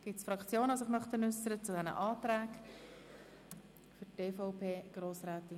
Gibt es Fraktionen, die sich zu den Anträgen äussern wollen?